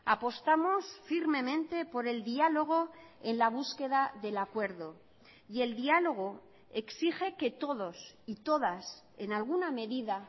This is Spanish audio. apostamos firmemente por el diálogo en la búsqueda del acuerdo y el diálogo exige que todos y todas en alguna medida